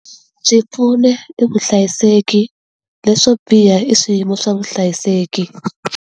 Byi pfuna i vuhlayiseki, leswo biha i swiyimo swa vuhlayiseki.